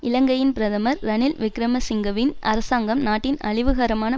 இலங்கையின் பிரதமர் ரணில் விக்கிரமசிங்கவின் அரசாங்கம் நாட்டின் அழிவுகரமான